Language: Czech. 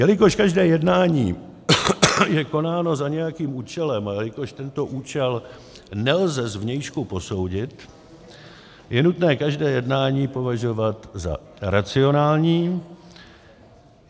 Jelikož každé jednání je konáno za nějakým účelem a jelikož tento účel nelze zvnějšku posoudit, je nutné každé jednání považovat za racionální.